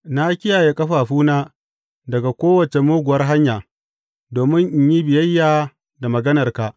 Na kiyaye ƙafafuna daga kowace muguwar hanya domin in yi biyayya da maganarka.